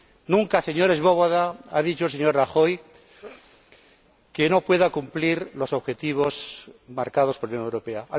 Nunca, señor Swoboda, ha dicho el señor Rajoy que no pueda cumplir los objetivos marcados por la Unión Europea.